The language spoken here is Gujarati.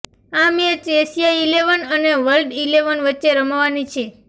આ મેચ એશિયા ઈલેવન અને વર્લ્ડ ઈલેવન વચ્ચે રમાવાની છે